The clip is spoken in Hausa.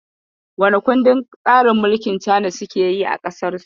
Which system of government is China practicing?